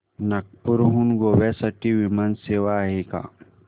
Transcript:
नागपूर हून गोव्या साठी विमान सेवा आहे का